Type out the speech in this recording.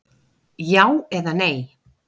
Já eða nei?